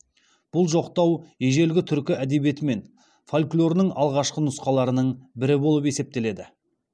бұл жоқтау ежелгі түркі әдебиеті мен фольклорінің алғашқы нұсқаларының бірі болып есептеледі